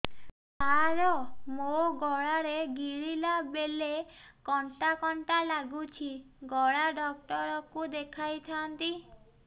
ସାର ମୋ ଗଳା ରେ ଗିଳିଲା ବେଲେ କଣ୍ଟା କଣ୍ଟା ଲାଗୁଛି ଗଳା ଡକ୍ଟର କୁ ଦେଖାଇ ଥାନ୍ତି